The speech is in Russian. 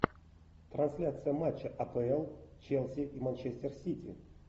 трансляция матча апл челси и манчестер сити